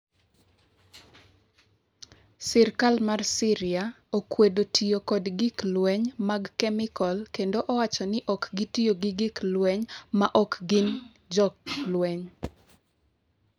Sirkal mar Syria okwedo tiyo kod gik lweny mag kemikol kendo owacho ni ok otiyo gi gik lweny ma ok gin jolweny.